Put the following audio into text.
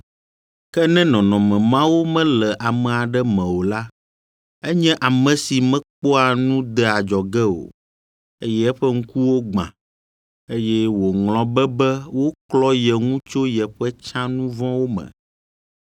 Ke ne nɔnɔme mawo mele ame aɖe me o la, enye ame si mekpɔa nu dea adzɔge o, eye eƒe ŋkuwo gbã, eye wòŋlɔ be be woklɔ ye ŋu tso yeƒe tsã nu vɔ̃wo me.